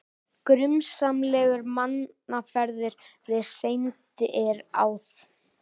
Grunsamlegar mannaferðir við sendiráð